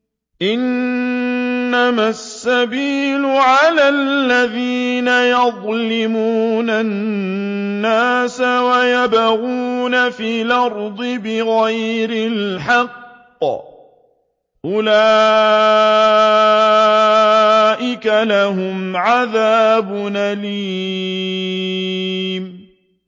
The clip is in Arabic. إِنَّمَا السَّبِيلُ عَلَى الَّذِينَ يَظْلِمُونَ النَّاسَ وَيَبْغُونَ فِي الْأَرْضِ بِغَيْرِ الْحَقِّ ۚ أُولَٰئِكَ لَهُمْ عَذَابٌ أَلِيمٌ